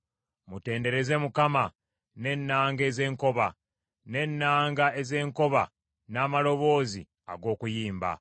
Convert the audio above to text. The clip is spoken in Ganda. Mutendereze Mukama n’ennanga ez’enkoba; n’ennanga ez’enkoba n’amaloboozi ag’okuyimba,